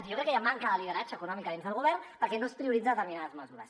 jo crec que hi ha manca de lideratge econòmic a dins del govern perquè no es prioritzen determinades mesures